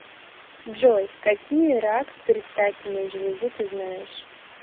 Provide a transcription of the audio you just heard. джой какие рак предстательной железы ты знаешь